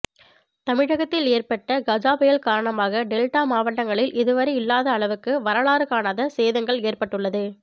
தமிழகத்தில் ஏற்பட்ட கஜா புயல் காரணமாக டெல்டா மாவட்டங்களில் இதுவரை இல்லாத அளவுக்கு வரலாறு காணாத சேதங்கள் ஏற்பட்டுள்ளது